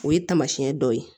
O ye tamasiyɛn dɔw ye